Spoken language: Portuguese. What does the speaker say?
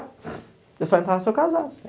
Eu só entrasse, se eu casasse.